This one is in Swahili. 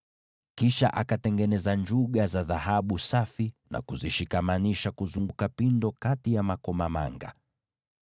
Kisha akatengeneza vikengele vya dhahabu safi na kuvishikamanisha kuzunguka pindo hilo kati ya hayo makomamanga.